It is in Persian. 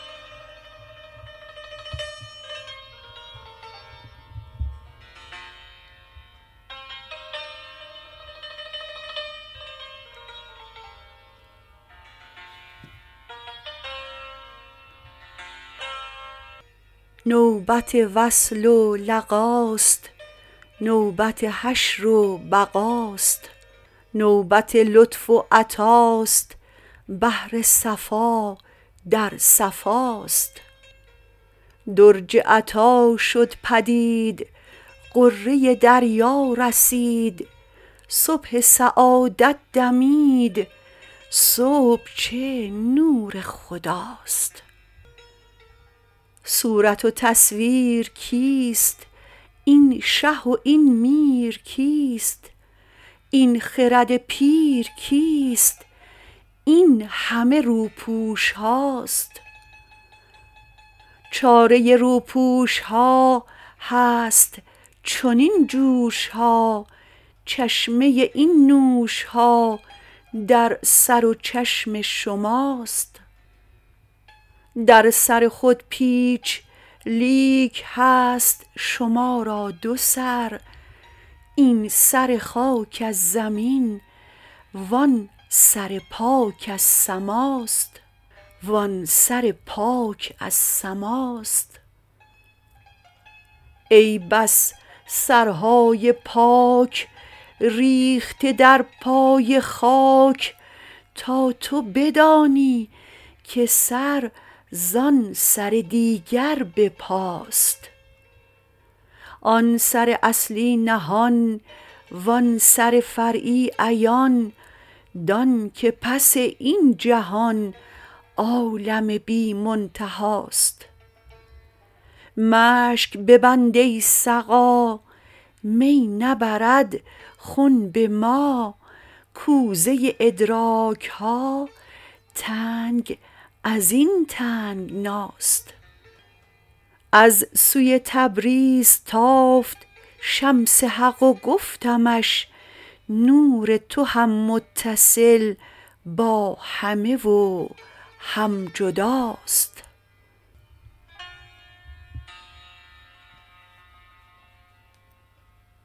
نوبت وصل و لقاست نوبت حشر و بقاست نوبت لطف و عطاست بحر صفا در صفاست درج عطا شد پدید غره دریا رسید صبح سعادت دمید صبح چه نور خداست صورت و تصویر کیست این شه و این میر کیست این خرد پیر کیست این همه روپوش هاست چاره روپوش ها هست چنین جوش ها چشمه این نوش ها در سر و چشم شماست در سر خود پیچ لیک هست شما را دو سر این سر خاک از زمین وان سر پاک از سماست ای بس سرهای پاک ریخته در پای خاک تا تو بدانی که سر زان سر دیگر به پاست آن سر اصلی نهان وان سر فرعی عیان دانک پس این جهان عالم بی منتهاست مشک ببند ای سقا می نبرد خنب ما کوزه ادراک ها تنگ از این تنگناست از سوی تبریز تافت شمس حق و گفتمش نور تو هم متصل با همه و هم جداست